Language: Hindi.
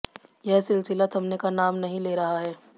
यह सिलसिला थमने का नाम नहीं ले रहा है